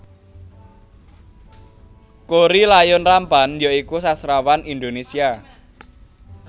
Korrie Layun Rampan ya iku sastrawan Indonésia